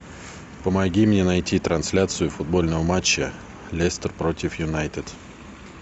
помоги мне найти трансляцию футбольного матча лестер против юнайтед